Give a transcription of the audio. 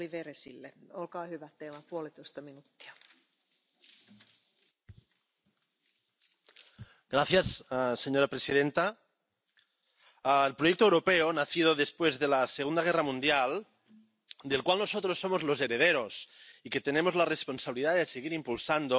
Señora presidenta, el proyecto europeo nacido después de la Segunda Guerra Mundial, del cual nosotros somos los herederos y que tenemos la responsabilidad de seguir impulsando, empezó a andar porque previamente las democracias liberales habían ganado a los regímenes totalitarios en aquella guerra horrible.